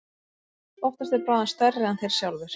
Oftast er bráðin stærri en þeir sjálfir.